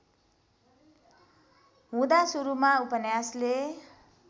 हुँदा सुरूमा उपन्यासले